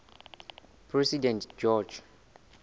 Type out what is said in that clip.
president george